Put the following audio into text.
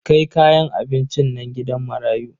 Kai kayan abincin nan gidan marayu.